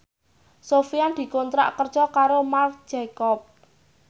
Sofyan dikontrak kerja karo Marc Jacob